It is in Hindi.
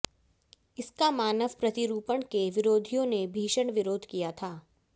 इसका मानव प्रतिरूपण के विरोधियों ने भीषण विरोध किया था